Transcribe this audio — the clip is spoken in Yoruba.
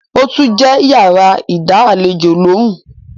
ó tún jẹ́ yàrá ìdá àlejò lóhùn.